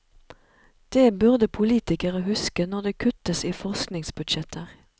Det burde politikere huske når det kuttes i forskningsbudsjetter.